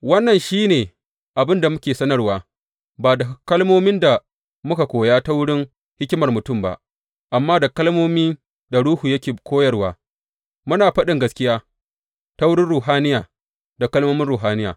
Wannan shi ne abin da muke sanarwa, ba da kalmomin da muka koya ta wurin hikimar mutum ba, amma da kalmomin da Ruhu yake koyarwa, muna faɗin gaskiya ta ruhaniya da kalmomin ruhaniya.